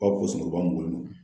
b'an bolo